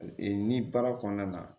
Ee ni baara kɔnɔna na